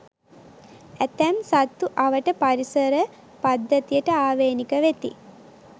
ඇතැම් සත්තු අවට පරිසර පද්ධතියට ආවේණික වෙති.